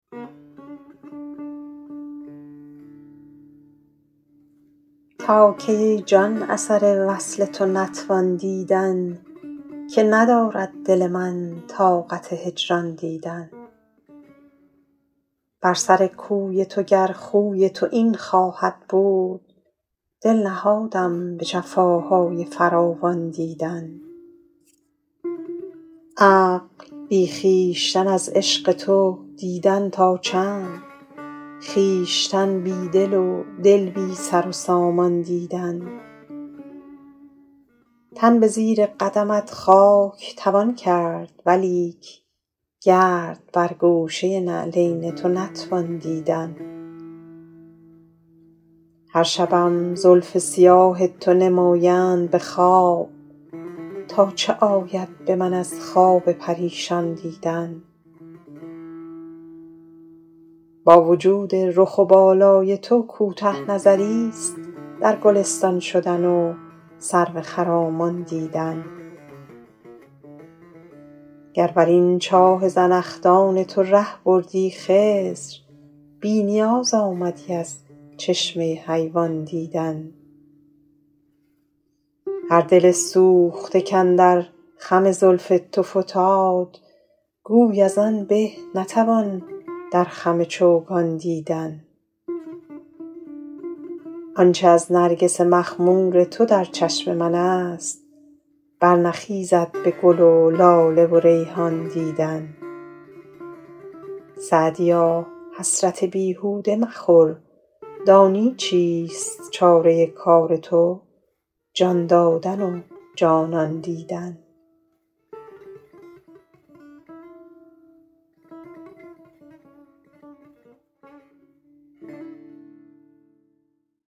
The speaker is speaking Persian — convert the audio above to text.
تا کی ای جان اثر وصل تو نتوان دیدن که ندارد دل من طاقت هجران دیدن بر سر کوی تو گر خوی تو این خواهد بود دل نهادم به جفاهای فراوان دیدن عقل بی خویشتن از عشق تو دیدن تا چند خویشتن بی دل و دل بی سر و سامان دیدن تن به زیر قدمت خاک توان کرد ولیک گرد بر گوشه نعلین تو نتوان دیدن هر شبم زلف سیاه تو نمایند به خواب تا چه آید به من از خواب پریشان دیدن با وجود رخ و بالای تو کوته نظریست در گلستان شدن و سرو خرامان دیدن گر بر این چاه زنخدان تو ره بردی خضر بی نیاز آمدی از چشمه حیوان دیدن هر دل سوخته کاندر خم زلف تو فتاد گوی از آن به نتوان در خم چوگان دیدن آن چه از نرگس مخمور تو در چشم من است برنخیزد به گل و لاله و ریحان دیدن سعدیا حسرت بیهوده مخور دانی چیست چاره کار تو جان دادن و جانان دیدن